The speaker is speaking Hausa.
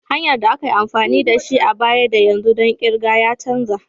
Hanyar da ake amfani da shi a baya da yanzu ɗon kirga ya canza.